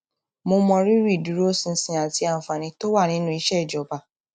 mo mọrírì ìdúróṣinṣin àti àǹfààní tó wà nínú iṣẹ ìjọba